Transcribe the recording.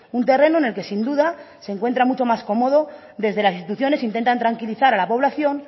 un terreno en el que sin duda se encuentra mucho más cómodo desde las instituciones intentan tranquilizar a la población